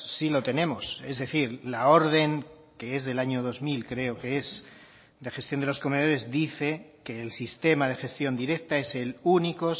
sí lo tenemos es decir la orden que es del año dos mil creo que es de gestión de los comedores dice que el sistema de gestión directa es el único